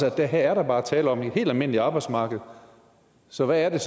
at der her bare er tale om et helt almindeligt arbejdsmarked så hvad er